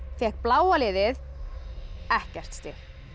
fékk bláa liðið ekkert stig